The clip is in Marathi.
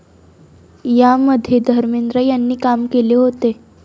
या मध्ये धर्मेंद्र यांनी काम केले होते.